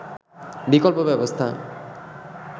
বিকল্প ব্যবস্থা